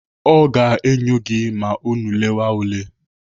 Ọ ga-enyo gị ma unu lewa ule.